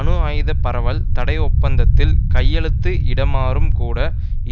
அணு ஆயுத பரவல் தடை ஒப்பந்தத்தில் கையெழுத்து இடுமாறும் கூட